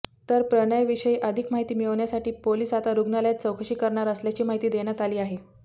तर प्रणयविषयी अधिक माहिती मिळवण्यासाठी पोलीस आता रुग्णालयात चौकशी करणार असल्याची माहिती देण्यात आली आहे